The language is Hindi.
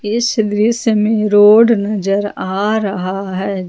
इस दृश्य में रोड नजर आ रहा है।